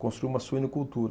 Construir uma suinocultura.